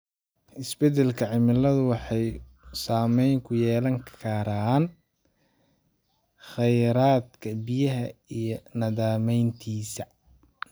Isbedelka cimiladu wuxuu saameyn ku yeelan karaa khayraadka biyaha iyo nidaamyadiisa.